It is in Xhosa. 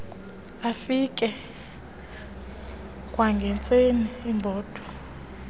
afike kwangentseni ebhotwe